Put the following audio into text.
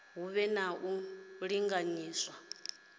hu vhe na u linganyiswa